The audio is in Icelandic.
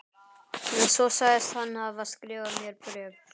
Svo sagðist hann hafa skrifað mér bréf.